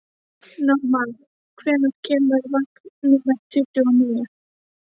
Normann, hvenær kemur vagn númer tuttugu og níu?